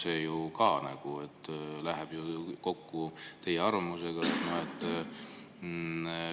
See ju ka nagu läheb teie arvamusega kokku.